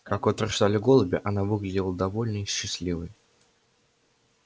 как утверждали голуби она выглядела довольной и счастливой